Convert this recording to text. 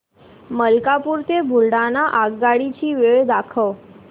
मलकापूर ते बुलढाणा आगगाडी ची वेळ दाखव